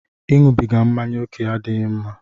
Ịṅụbiga mmáñyá oke adịghị mma